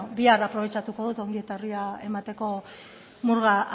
bihar aprobetxatuko dut ongi etorria emateko murga